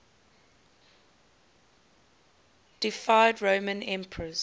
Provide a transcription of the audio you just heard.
deified roman emperors